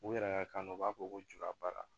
U yɛrɛ ka kanu u b'a fɔ ko juba baara